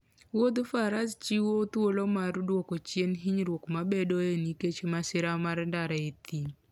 Wuodh faras chiwo thuolo mar dwoko chien hinyruok mabedoe nikech masira mar ndara e thim.